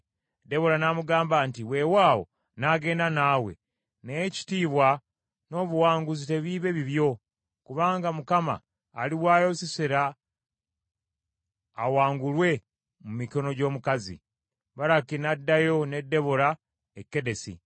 Debola n’amugamba nti, “Wewaawo nnaagenda naawe, naye ekitiibwa n’obuwanguzi tebiibe bibyo, kubanga Mukama aliwaayo Sisera awangulwe mu mikono gy’omukazi.” Baraki n’addayo ne Debola e Kedesi.